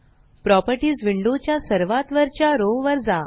properties window च्या सर्वात वरच्या रो वर जा